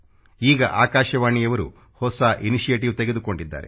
ಈಗ ಆಕಾಶವಾಣಿಯವರು ಹೊಸ ಇನಿಟಿವೇಟಿವ್ ತೆಗೆದುಕೊಂಡಿದ್ದಾರೆ